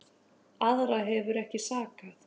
Aðra hefur ekki sakað